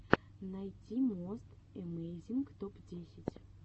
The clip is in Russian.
найти мост эмейзинг топ десять